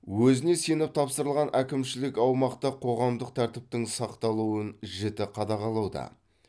өзіне сеніп тапсырылған әкімшілік аумақта қоғамдық тәртіптің сақталуын жіті қадағалауда